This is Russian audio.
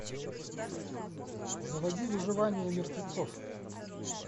заводи выживание мертвецов